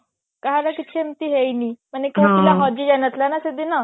କାହାର କିଛି ଏମତି ହେଇନି ମାନେ କୋଉ ପିଲା ହଜି ଯାଇ ନଥିଲା ନା ସେଦିନ